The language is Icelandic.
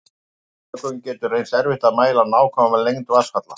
Af þessum sökum getur reynst erfitt að mæla nákvæma lengd vatnsfalla.